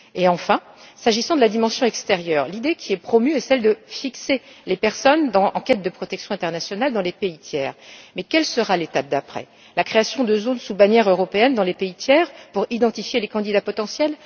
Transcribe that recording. Enfin, s'agissant de la dimension extérieure, l'idée qui est promue est celle de fixer les personnes en quête de protection internationale dans les pays tiers, mais quelle sera l'étape d'après? La création de zones sous bannière européenne dans les pays tiers pour identifier les candidats potentiels?